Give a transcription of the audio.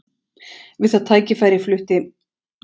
Við það tækifæri flutti